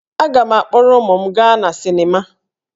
Aga m akpọrọ ụmụ m gaa na sịnịma